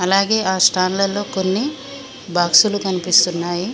అలాగే ఆ స్టాండ్లలో కొన్ని బాక్సులు కనిపిస్తున్నాయి.